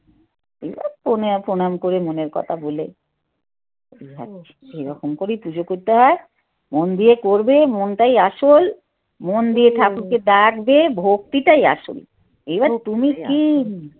পণাম করে মনের কথা বলে সেই রকম করেই পুজো করতে হয় মন দিয়ে করবে মনটাই আসল মন দিয়ে ঠাকুরকে ডাকবে ভক্তিটাই আসল তুমি কী